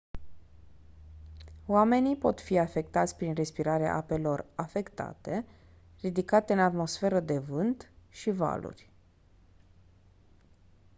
oamenii pot fi afectați prin respirarea apelor afectate ridicate în atmosferă de vânt și valuri